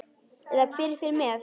Eða hver fer með.